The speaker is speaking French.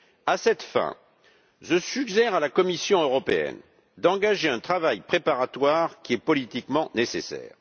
À cette fin, je suggère à la Commission européenne d'engager un travail préparatoire qui est politiquement nécessaire.